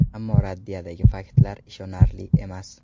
Ammo raddiyadagi faktlar ishonarli emas.